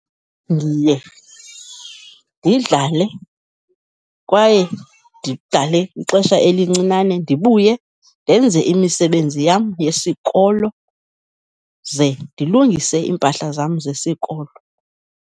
Ndiye ndidlale kwaye ndidlale ixesha elincinane, ndibuye ndenze imisebenzi yam yesikolo, ze ndilungise iimpahla zam zesikolo.